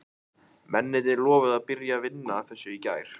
Mennirnir lofuðu að byrja að vinna að þessu í gær.